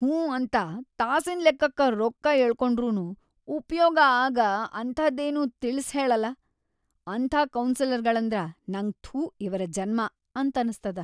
ಹ್ಞೂ ಅಂತ ತಾಸಿನ್‌ ಲೆಕ್ಕಕ್ಕ ರೊಕ್ಕಾ ಯಳ್ಕೊಂಡ್ರುನೂ ಉಪಯೋಗ ಆಗ ಅಂಥಾದೇನೂ ತಿಳಿಸ್ಹೇಳಲ್ಲಲಾ ಅಂಥಾ ಕೌನ್ಸೆಲರ್‌ಗಳಂದ್ರ ನಂಗ ಥೂ ಇವ್ರ ಜನ್ಮ ಅಂತನಸ್ತದ.